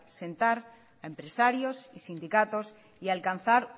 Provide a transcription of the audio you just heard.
sentar a empresarios y sindicatos y alcanzar